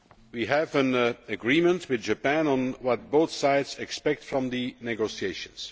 We have an agreement with Japan on what both sides expect from the negotiations.